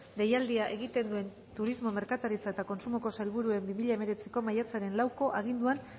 deialdia egiten duen turismo merkataritza eta kontsumoko sailburuaren bi mila hemeretziko maiatzaren hamalauko aginduan